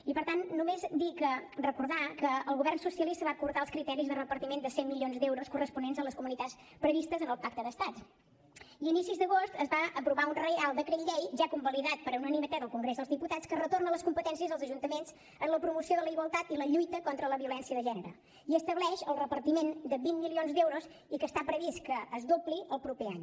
i per tant només recordar que el govern socialista va acordar els criteris de repartiment de cent milions d’euros corresponents a les comunitats previstes en el pacte d’estat i a inicis d’agost es va aprovar un reial decret llei ja convalidat per unanimitat al congrés dels diputats que retorna les competències als ajuntaments en la promoció de la igualtat i la lluita contra la violència de gènere i estableix el repartiment de vint milions d’euros i que està previst que es dobli el proper any